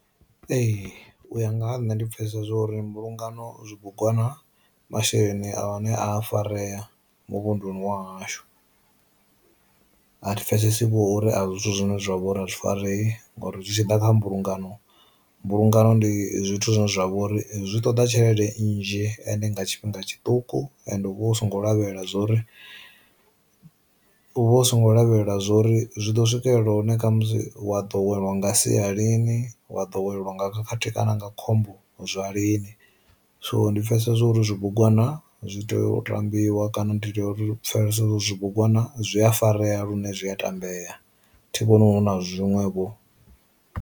Ee u ya nga ha nṋe ndi pfesesa zwori mbulungano zwibugwana masheleni a ne a farea muvhunḓuni wa hashu, a thi pfesesi vho huri a si zwithu zwine zwa vha uri a zwi farei ngori zwi tshi ḓa kha mbulungano. Mbulungano ndi zwithu zwine zwa vha uri zwi ṱoḓa tshelede nnzhi ende nga tshifhinga tshiṱuku, and u songo lavhelela zwori u vha u songo lavhelela zwori zwi ḓo swikelela hune kha musi wa ḓo welwa nga sia lini wa ḓo welwa nga khathihi kana nga khombo zwa lini. So ndi pfesesa zwauri zwi bugwana zwi tea u tambiwa kana ndi tea uri pfesesa zwi bugwana zwi a fareya lune zwi a tambeya thi vhoni hu na zwiṅwevho.